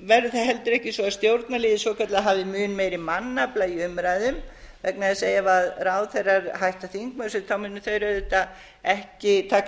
verður það heldur ekki svo að stjórnarliðið svokallað hafi mun meiri mannafla í umræðum vegna þess að ef ráðherrar hætta þingmennsku munu þeir auðvitað ekki taka